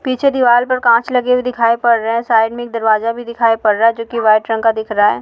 पीछे दीवाल पर कांच लगे हुए दिखाई पड़ रहे हैं साइड में एक दरवाज़ा भी दिखाई पड़ रहा है जो कि वाइट रंग का दिख रहा है।